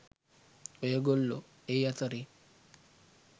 ඔය ගොල්ලෝ ඒ අතරේ